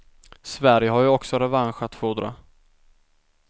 Sverige har ju också revansch att fordra.